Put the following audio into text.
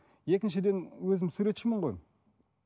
екіншіден өзім суретшімін ғой